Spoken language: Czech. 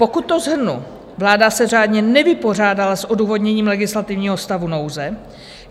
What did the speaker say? Pokud to shrnu, vláda se řádně nevypořádala s odůvodněním legislativního stavu nouze.